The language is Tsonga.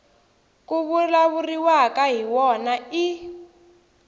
ku vulavuriwaka hi wona i